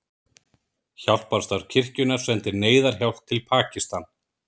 Hjálparstarf kirkjunnar sendir neyðarhjálp til Pakistan